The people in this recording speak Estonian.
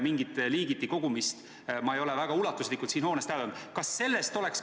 Mingit ulatuslikku liigiti kogumist ma ei ole siin hoones täheldanud.